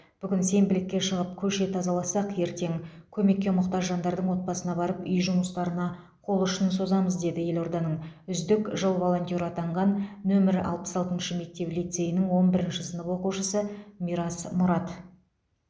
бүгін сенбілікке шығып көше тазаласақ ертең көмекке мұқтаж жандардың отбасына барып үй жұмыстарына қол ұшын созамыз деді елорданың үздік жыл волонтеры атанған нөмір алпыс алтыншы мектеп лицейінің он бірінші сынып оқушысы мирас мұрат